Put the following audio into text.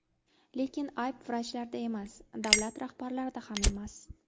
Lekin ayb vrachlarda emas, davlat rahbarlarida ham emas.